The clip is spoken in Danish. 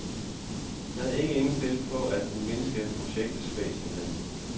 Han er ikke indstillet på at mindske projektet væsentligt.